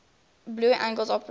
blue angels operate